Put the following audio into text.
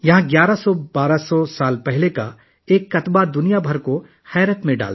یہاں 12001100 سال پرانا ایک کتبہ ہے جس نے پوری دنیا کو حیران کر دیا ہے